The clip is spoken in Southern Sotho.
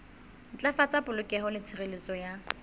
ntlafatsa polokeho le tshireletso ya